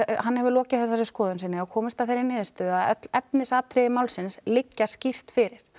hann hefur lokið þessari skoðun og komist að þeirri niðurstöðu að öll efnisatriði málsins liggja skýrt fyrir